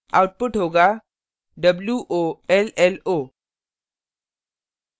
output होगा wollo